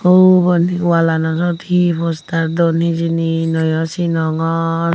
ubon wallanot he poster don hejeni nayo sinongor.